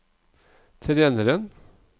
treneren